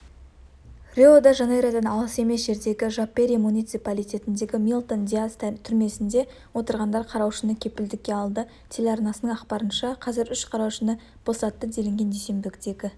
алдын-ала ақпар бойынша жүк көлігі мен пикап соқтығысқан қалған жағдайлары нақтылануда бұл жаңалық жабық және ақы